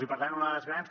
i per tant una de les grans